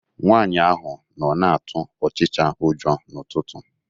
Nwaanyi ahụ nọ na-atụ ọchịcha ụjọ n'ụtụtụ.